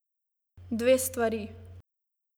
Dve stvari.